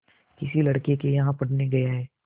किसी लड़के के यहाँ पढ़ने गया है